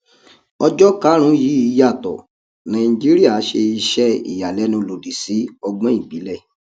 ọjọ karùn yìí yàtọ nàìjíríà ṣe iṣẹ iyalẹnu lòdì sí ọgbọn ìbílẹ